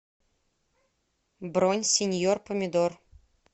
бронь синьор помидор